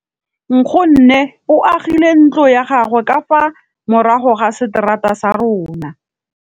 Nkgonne o agile ntlo ya gagwe ka fa morago ga seterata sa rona.